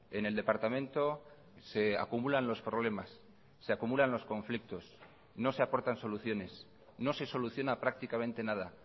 en el departamento se acumulan los problemas se acumulan los conflictos no se aportan soluciones no se soluciona prácticamente nada